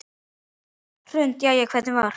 Hrund: Jæja, hvernig var?